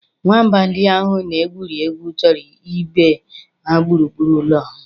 Nwamba ndị ahụ na-egwuri egwu chụrụ ibe ha gburugburu ụlọ ahụ.